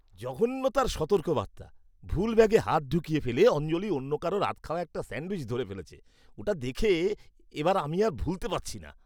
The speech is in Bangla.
জঘন্যতার সতর্কবার্তা! ভুল ব্যাগে হাত ঢুকিয়ে ফেলে অঞ্জলি অন্য কারুর আধখাওয়া একটা স্যাণ্ডউইচ ধরে ফেলেছে। ওটা দেখে এবার আমি আর ভুলতে পারছি না।